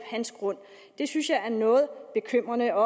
hans grund det synes jeg er noget bekymrende og